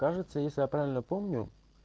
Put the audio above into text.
кажется если я правильно помню